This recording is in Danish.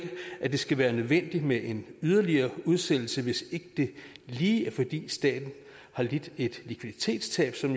at det skal være nødvendigt med en yderligere udsættelse hvis ikke det lige er fordi staten lider et likviditetstab som